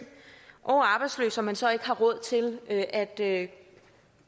og arbejdsløs og man så ikke har råd til at at